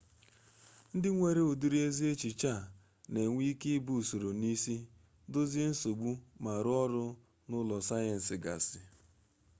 ndị nwere ụdịrị ezi echiche a na-enwe ike ibu usoro n'isi dozie nsogbu ma rụọ ọrụ n'ule sayensị gasị